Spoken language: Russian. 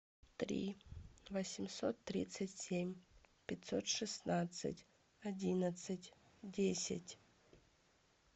три восемьсот тридцать семь пятьсот шестнадцать одиннадцать десять